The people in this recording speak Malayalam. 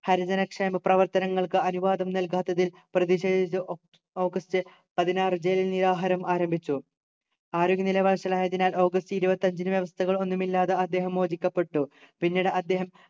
ഹരിജനക്ഷേമ പ്രവർത്തനങ്ങൾക്ക് അനുവാദം നൽകാത്തതിൽ പ്രതിഷേധിച്ച് ഒ ഓഗസ്റ്റ് പതിനാറു ജയിലിൽ നിരാഹാരം ആരംഭിച്ചു ആരോഗ്യനില വഷളായതിനാൽ ഓഗസ്റ്റ് ഇരുപത്തഞ്ചിന് വ്യവസ്ഥകളൊന്നും ഇല്ലാതെ അദ്ദേഹം മോചിപ്പിക്കപ്പെട്ടു പിന്നീട് അദ്ദേഹം